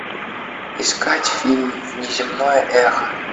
искать фильм внеземное эхо